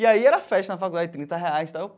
E aí era festa na faculdade, trinta reais tal.